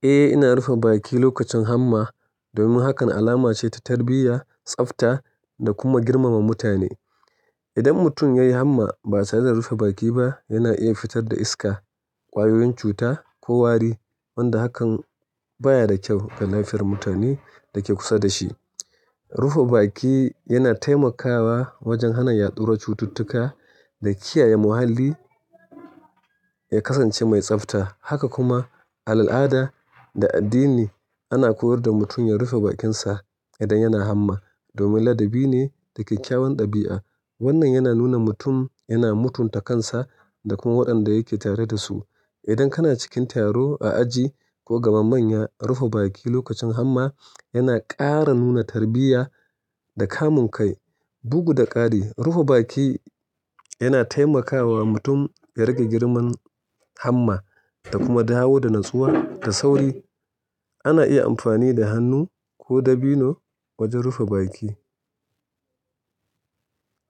Eh, ina rufe baki lokacin hamma domin hakan alama ce ta tarbiyya, tsafta da kuma girmama mutane. Idan mutum ya yi hamma ba tareda rufe baki ba, yana iya fitar da iska, ƙwayoyin cuta ko wari, wanda hakan baya da kyau ga lafiyar mutanen da ke kusa da shi. Rufe baki yana taimakawa wajen hana yaɗuwar cututtuka da kiyaye muhalli ya kasance mai tsafta. Haka kuma a al'ada da addini ana koyar da mutum ya rufe bakinsa idan yana hamma domin ladabi ne da kyakkyawan ɗabi'a. Wannan yana nuna mutum yana mutunta kansa da kuma waɗanda yake tare da su. Idan kana cikin taro, a aji ko gaba manya, rufe baki lokacin hamma yana ƙara nuna tarbiyya da kamun kai, bugu da ƙari. Rufe baki yana taimakawa mutum ya rage girmar hamma da kuma dawo da natsuwa da sauri. Ana iya amfani da hannu ko dabino wajen rufe baki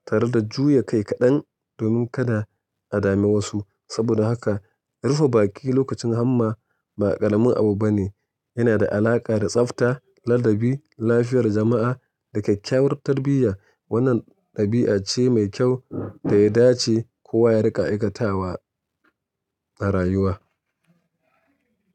tare da juya kai kaɗan domin kada a dame wasu. Saboda haka rufe baki lokacin hamma ba ƙaramin abu bane. Yana da alaƙa da tsafta, ladabi, lafiyar jama'a da kyakkyawar tarbiyya. Wannan ɗabi'a ce mai kyau da ya dace kowa ya riƙa aikatawa a rayuwa.